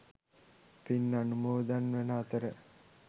පින් අනුමෝදන් වන අතර